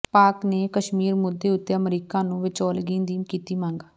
ਪਾਕਿ ਨੇ ਕਸ਼ਮੀਰ ਮੁੱਦੇ ਉੱਤੇ ਅਮਰੀਕਾ ਨੂੰ ਵਿਚੋਲਗੀ ਦੀ ਕੀਤੀ ਮੰਗ